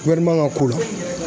ka ko la.